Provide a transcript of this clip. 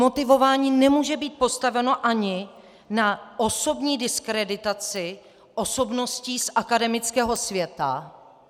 Motivování nemůže být postaveno ani na osobní diskreditaci osobností z akademického světa.